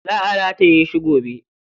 Za a rataye shi gobe.